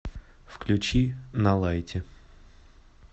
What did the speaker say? включи на лайте